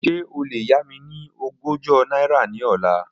Ṣe o le ya mi ni ọgọ́jọ naira ni ọla?